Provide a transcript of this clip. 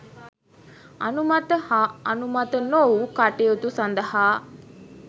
අනුමත හා අනුමත නොවු කටයුතු සඳහා